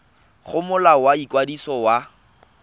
go molao wa ikwadiso wa